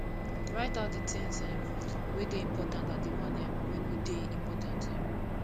write out di things um wey dey important and di one um wey no dey important um